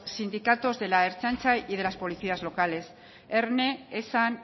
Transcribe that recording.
sindicatos de la ertzaintza y los policías locales erne esan